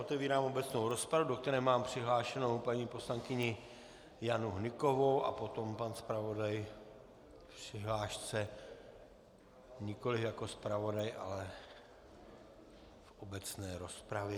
Otevírám obecnou rozpravu, do které mám přihlášenu paní poslankyni Janu Hnykovou a potom pan zpravodaj v přihlášce nikoli jako zpravodaj, ale v obecné rozpravě.